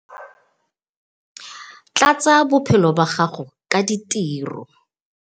Tlatsa bophelo ba gago ka ditiro.